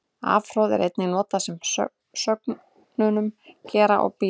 Afhroð er einnig notað með sögnunum gera og bíða.